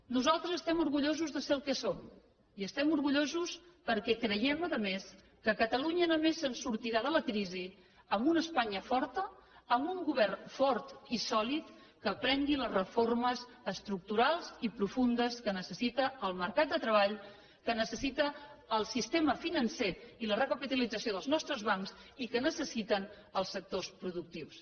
nosaltres estem orgullosos de ser el que som i n’estem orgullosos perquè creiem a més a més que catalunya només sortirà de la crisi amb una espanya forta amb un govern fort i sòlid que prengui les reformes estructurals i profundes que necessita el mercat de treball que necessita el sistema financer i la recapitalització dels nostres bancs i que necessiten els sectors productius